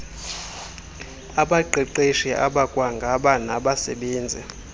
abaqeqeshi abakwaba nagbasebenzi